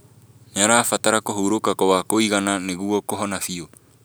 Nĩarabatara kũhurũka gwa kũigana nĩguo kũhona biu